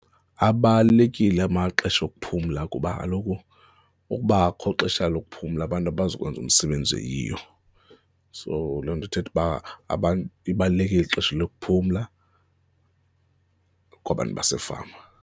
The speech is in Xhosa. Abalulekile amaxesha okuphumla kuba kaloku ukuba akukho xesha lokuphumla abantu abazokwenza umsebenzi oyiyo. So, loo nto ithetha uba abantu, libalulekile ixesha lokuphumla kwabantu basefama.